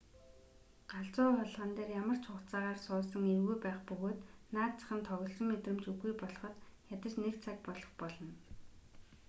галзуу хулгана дээр ямар ч хугацаагаар суусан эвгүй байх бөгөөд наад зах нь тоглосон мэдрэмж үгүй болоход ядаж нэг цаг болох болно